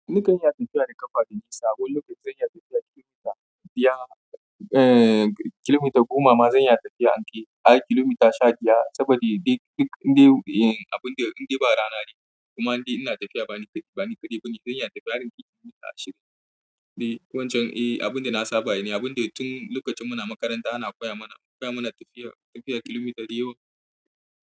Ni kan iya tafiya da ƙafa da gisa, wani lokacin zan iya tafiyar kilomita biyar, eh kilomita goma ma zan iya tafiya anke, ai kilomita sha biyar saboda duk inda, eh abin da inda ba rana ne kuma in ina tafiya bani kaɗai, bani kaɗai bane zan iya tafiyar kilomita ashirin. Eh wancan eh abin da na saba ne, abin da tun lokacin muna makaranta ana koya mana, koya mana tafiyar, tafiyar kilomita diyowa.